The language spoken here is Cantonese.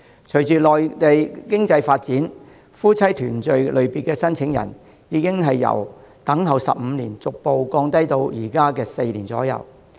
隨着內地經濟發展，夫妻團聚類別的申請人，等候年期已由15年逐步降低至現時的4年。